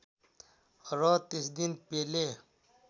र त्यस दिन पेले